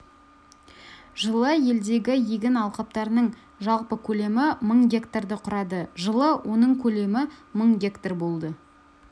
жылы елдегі егін алқаптарының жалпы көлемі мың гектарды құрады жылы оның көлемі мың гектар болды